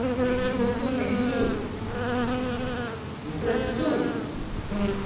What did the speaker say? মানে কি বল তো জানিস তুই বুঝতে পারছিস তুই